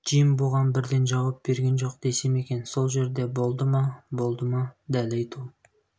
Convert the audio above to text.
джим бұған бірден жауап берген жоқ десем екен сол жерде болды ма болды ма дәл айту